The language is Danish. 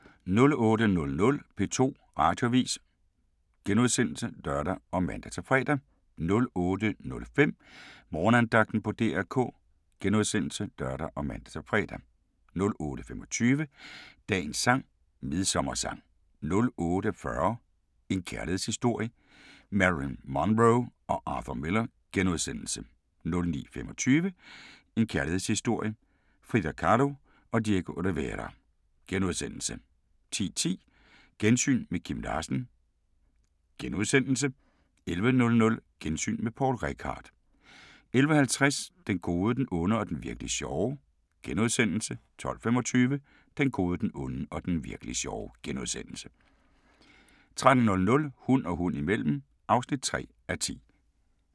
08:00: P2 Radioavis *(lør og man-fre) 08:05: Morgenandagten på DR K *(lør og man-fre) 08:25: Dagens sang: Midsommersang 08:40: En kærlighedshistorie – Marilyn Monroe & Arthur Miller * 09:25: En kærlighedshistorie – Frida Kahlo & Diego Rivera * 10:10: Gensyn med Kim Larsen * 11:00: Gensyn med Poul Reichhardt 11:50: Den gode, den onde og den virk'li sjove * 12:25: Den gode, den onde og den virk'li sjove * 13:00: Hund og hund imellem (3:10)